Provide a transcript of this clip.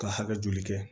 Ka hakɛ joli kɛ